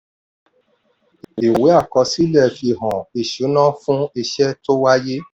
ìwé àkọsílẹ̀ fi hàn ìṣúná fún iṣẹ́ tó wáyé.